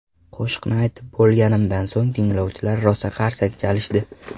Qo‘shiqni aytib bo‘lganimdan so‘ng tinglovchilar rosa qarsak chalishdi.